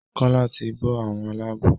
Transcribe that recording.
Kola tí bó àwọn Àlàabò.